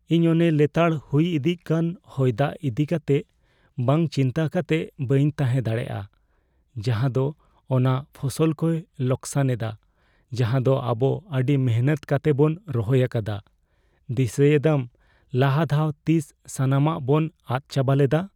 ᱤᱧ ᱚᱱᱮ ᱞᱮᱛᱟᱲ ᱦᱩᱭ ᱫᱤᱜ ᱠᱟᱱ ᱦᱚᱭᱼᱫᱟᱜ ᱤᱫᱤ ᱠᱟᱛᱮᱜ ᱵᱟᱝ ᱪᱤᱱᱛᱟᱹ ᱠᱟᱛᱮᱜ ᱵᱟᱹᱧ ᱛᱟᱦᱮᱸ ᱫᱟᱲᱮᱭᱟᱜᱼᱟ ᱡᱟᱦᱟᱸᱫᱚ ᱚᱱᱟ ᱯᱷᱚᱥᱚᱞ ᱠᱚᱭ ᱞᱚᱠᱥᱟᱱ ᱮᱫᱟ ᱡᱟᱦᱟᱸᱫᱚ ᱟᱵᱚ ᱟᱹᱰᱤ ᱢᱤᱱᱦᱟᱹᱛ ᱠᱟᱛᱮᱵᱚᱱ ᱨᱚᱦᱚᱭ ᱟᱠᱟᱫᱟ ᱾ ᱫᱤᱥᱟᱹᱭᱮᱫᱟᱢ ᱞᱟᱦᱟ ᱫᱷᱟᱣ ᱛᱤᱥ ᱥᱟᱱᱟᱢᱟᱜ ᱵᱚᱱ ᱟᱫᱽ ᱪᱟᱵᱟ ᱞᱮᱫᱟ ᱾